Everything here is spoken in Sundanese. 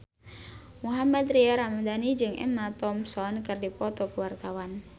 Mohammad Tria Ramadhani jeung Emma Thompson keur dipoto ku wartawan